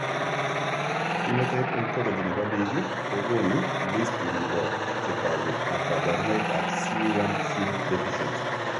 Phenotype ontology nebo biik kokoonu listini bo chetogu ak kaborunoik ab C1q deficiency